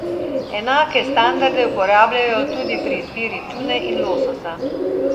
Enake standarde uporabljajo tudi pri izbiri tune in lososa.